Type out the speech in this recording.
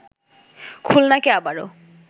খুলনাকে আবারো